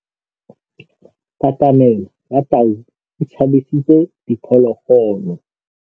Katamêlô ya tau e tshabisitse diphôlôgôlô.